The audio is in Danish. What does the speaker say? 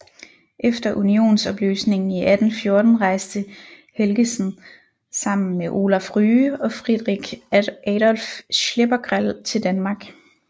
Efter unionsopløsningen i 1814 rejste Helgesen sammen med Olaf Rye og Friderich Adolph Schleppegrell til Danmark